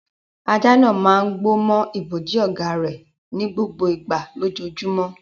Ajá náà máa ń gbó mọ́ ibojì ọ̀gá rẹ̀ ní gbogbo ìgbà lójoojúmọ́.